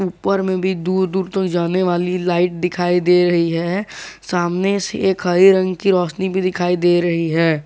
ऊपर में भी दूर दूर तक जाने वाली लाइट दिखाई दे रही है सामने से एक हरे रंग की रोशनी भी दिखाई दे रही है।